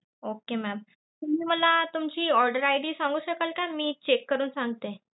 Okay mam तुम्ही मला तुमची order ID सांगू शकाल तर मी check करून सांगते.